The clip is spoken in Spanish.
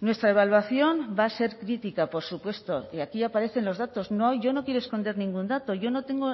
nuestra evaluación va a ser crítica por supuesto y aquí aparecen los datos no yo no quiero esconder ningún dato yo no tengo